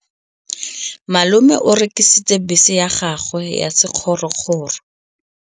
Malome o rekisitse bese ya gagwe ya sekgorokgoro.